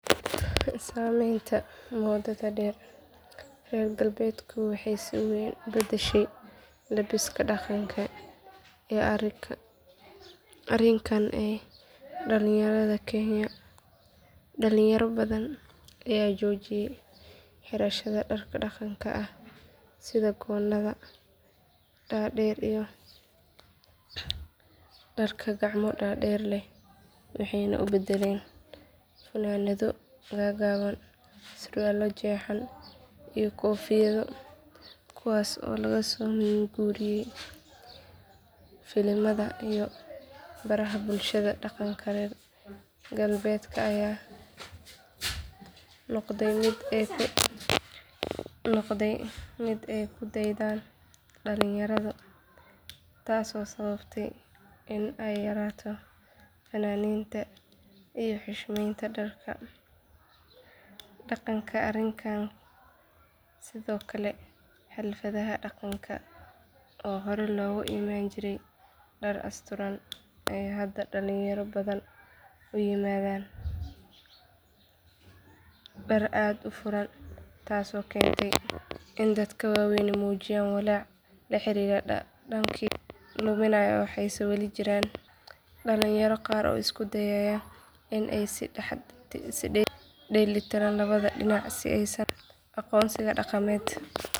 Saamaynta moodada reer galbeedku waxay si weyn u beddeshay labbiska dhaqanka ee arikanka ee dhallinyarada kenya dhalinyaro badan ayaa joojiyay xirashada dharka dhaqanka ah sida goonnada dhaadheer iyo dharka gacmo dhaadheer leh waxayna u beddeleen funaanado gaagaaban surwaallo jeexan iyo koofiyado kuwaas oo laga soo min guuriyay filimada iyo baraha bulshada dhaqanka reer galbeedka ayaa noqday mid ay ku daydaan dhalinyaradu taasoo sababtay in ay yaraato faaninta iyo xushmeynta dharka dhaqanka arikanka sidoo kale xafladaha dhaqanka oo hore loogu iman jiray dhar asturan ayaa hadda dhalinyaro badan u yimaadaan dhar aad u furan taasoo keentay in dadka waaweyni muujiyaan walaac la xiriira dhaqankii oo luminaya waxayse weli jiraan dhalinyaro qaar oo isku dayaya in ay is dhex dheellitiraan labada dhinac si aysan u lumin aqoonsigooda dhaqameed.